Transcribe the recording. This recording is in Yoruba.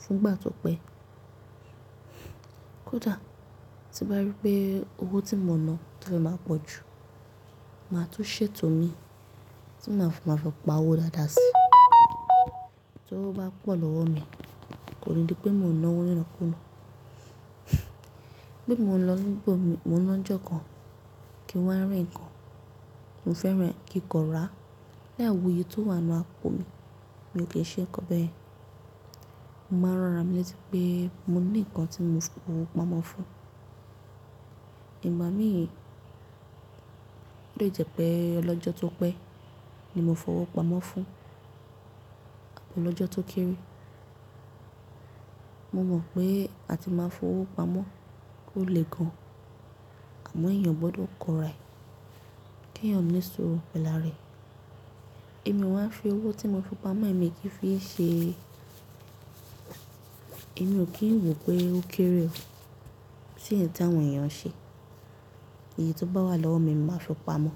fún ìgbà tó pẹ́. Kódà tí bá rí pé owó tí mo ná tó fẹ́ máa pọ̀ jù, màá tún ṣètò mi tí màá fi máa fi pa owó dáadáa sí i. Tó bá pọ̀ lọ́wọ́ mi, kò ní di pé mo ná owó nínàkú náà. Bí mo lọ sí ibi mi, mo ná ọjọ́ kan kí wọ́n ri ǹkan, mo fẹ́ràn kí ǹkan rà. Layì wo iye tó wà nínú àpò mi, mi ò kì í ṣe ǹkan bẹ́ẹ̀. Mo máa ń rọra mi létí pé mo ní ǹkan tí mo fi owó pamọ́ fún. Ìgbà mìíràn ó lè jẹ́ pé ọlọ́jọ́ tó pẹ́ ni mo fi owó pamọ́ fún àbi ọlọ́jọ́ tó kéré. Mo mọ̀ pé a ti máa ń fi owó pamọ́ ó le gan, àmọ́ èèyàn gbọdọ̀ kọra ẹ̀, kí èèyàn lè suru pẹ̀lu are rẹ̀. Èmi máa ń fi owó tí mo fi pamọ́ èmi kí fi ṣe. Èmi ò kí ń wò pé ó kéré o. Tí èyí táwọn èèyàn ṣe, èyí tó bá wà lọ́wọ́ mi, màá fi pamọ́.